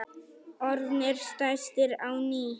Orðnir stærstir á ný